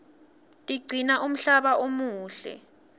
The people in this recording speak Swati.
tigcina umhlaba umuhle